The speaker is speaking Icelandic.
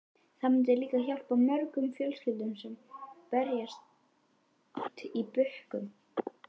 Það myndi líka hjálpa mörgum fjölskyldum sem berjast í bökkum.